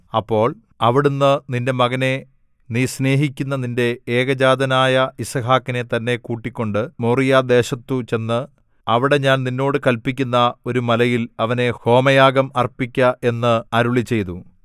അപ്പോൾ അവിടുന്ന് നിന്റെ മകനെ നീ സ്നേഹിക്കുന്ന നിന്റെ ഏകജാതനായ യിസ്ഹാക്കിനെ തന്നെ കൂട്ടിക്കൊണ്ട് മോറിയാദേശത്തു ചെന്ന് അവിടെ ഞാൻ നിന്നോട് കല്പിക്കുന്ന ഒരു മലയിൽ അവനെ ഹോമയാഗം അർപ്പിക്ക എന്ന് അരുളിച്ചെയ്തു